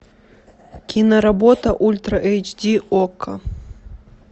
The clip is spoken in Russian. киноработа ультра эйч ди окко